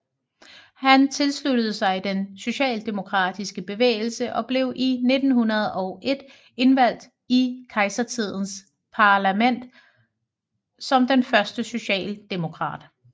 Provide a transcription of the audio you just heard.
Han tilsluttede sig den socialdemokratiske bevægelse og blev i 1901 indvalgt i kejsertidens parlament som den første socialdemokrat